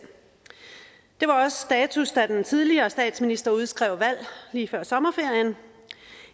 det var også status da den tidligere statsminister udskrev valg lige før sommerferien